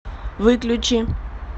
выключи